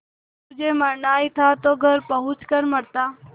तुझे मरना ही था तो घर पहुँच कर मरता